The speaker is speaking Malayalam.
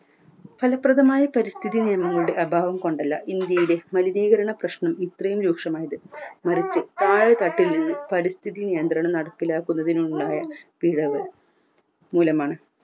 ഫലപ്രദമായ പരിസ്ഥിതി നിയന്ത്രണങ്ങളുടെ അഭാവം കൊണ്ടല്ല ഇന്ത്യയിലെ മലിനീകരണ പ്രശ്നം ഇത്രയും രൂക്ഷമായത് മറിച് താഴെ തട്ടിൽ നിന്നും പരിസ്ഥിതി നിയന്ത്രണം നടപ്പിലാക്കുന്നതിലുണ്ടായ പിഴവ് മൂലമാണ്